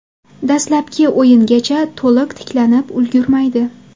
Dastlabki o‘yingacha to‘liq tiklanib ulgurmaydi.